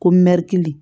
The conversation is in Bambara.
Ko mɛ k'i